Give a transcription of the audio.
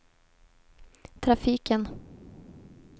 trafiken